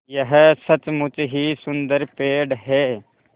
यह सचमुच ही सुन्दर पेड़ है